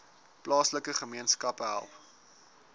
plaaslike gemeenskappe help